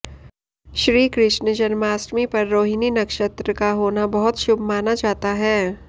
श्रीकृष्ण जन्माष्टमी पर रोहिणी नक्षत्र का होना बहुत शुभ माना जाता है